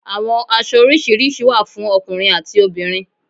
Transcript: Àwọn aṣọ orisirisi wa fún ọkùnrin ati obìnrin